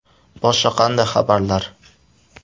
Boshqa qanday xabarlar?